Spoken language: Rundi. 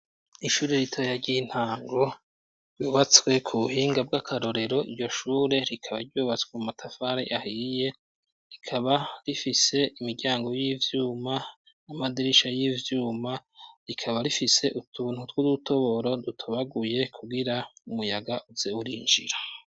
Ishuri ritoya ry'intango ryubatswe ku buhinga bw'akarorero iryo shure rikaba ryubatswe mu matafari ahiye rikaba rifise imiryango y'ivyuma amadirisha y'ivyuma rikaba rifise utuntu tw'udutoboro dutubaguye kugira umuyaga uze urinjira.